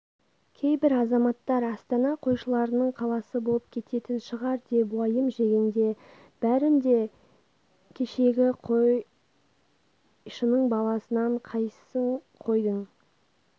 кейбір азаматтар астана қойшылардың қаласы болып кететін шығар деп уайым жегенде бәрің де кешегі қойшының баласысыңдар қайсыңнан қойдың